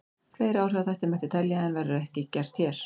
Fleiri áhrifaþætti mætti telja en verður ekki gert hér.